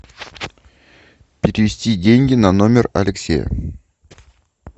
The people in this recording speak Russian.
перевести деньги на номер алексея